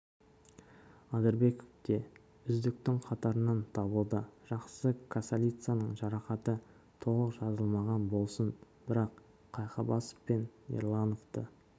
адырбеков те үздіктің қатарынан табылды жақсы касалицаның жарақаты толық жазылмаған болсын бірақ қайқыбасов пен ерлановты